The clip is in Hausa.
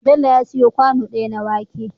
Bello ya siyo kwano daya na wake